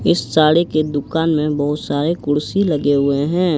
इस साड़ी के दुकान में बहुत सारे कुर्सी लगे हुए हैं।